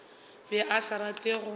be a sa rate go